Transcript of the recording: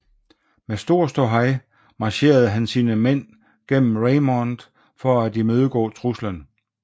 Med stor ståhej marcherede han sine mænd gennem Raymond for at imødegå truslen